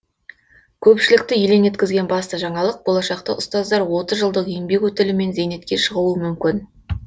көпшілікті елең еткізген басты жаңалық болашақта ұстаздар отыз жылдық еңбек өтілімен зейнетке шығуы мүмкін